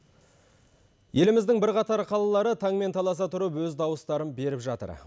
еліміздің бірқатар қалалары таңмен таласа тұрып өз дауыстарын беріп жатыр